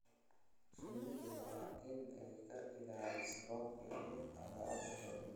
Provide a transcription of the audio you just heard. Shinnidu waa in ay ka ilaaliso roobka iyo cadceed xoogan.